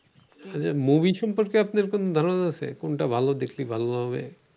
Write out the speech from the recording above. movie সম্পর্কে আপনার কোনো ধারণা আছে? কোনটা ভালো, দেখলে ভালো হবে।